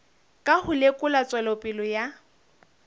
ka ho lekola tswelopele ya